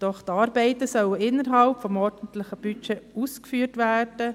Doch sollen die Arbeiten innerhalb des ordentlichen Budgets ausgeführt werden.